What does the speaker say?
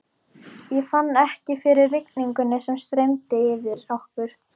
Ég fann ekki fyrir rigningunni sem streymdi yfir okkur.